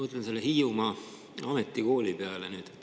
Ma mõtlen selle Hiiumaa Ametikooli peale.